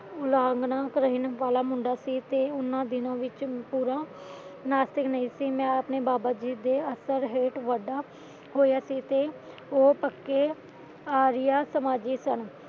ਉਲੰਘਣਾ ਕਰਨ ਵਾਲਾ ਮੁੰਡਾ ਸੀ ਤੇ ਉਹਨਾਂ ਦਿਨਾਂ ਵਿੱਚ ਮੈਂ ਪੂਰਾ ਨਾਸਤਿਕ ਨਹੀਂ ਸੀ ਤੇ ਮੈਂ ਆਪਣੇ ਬਾਬਾ ਦੀਪ ਆਸ਼੍ਰਣ ਹੇਠ ਵੱਡਾ ਹੋਇਆ ਸੀ ਤੇ ਉਹ ਪੱਕੇ ਆਰੀਆ ਸਮਾਜੀ ਸਨ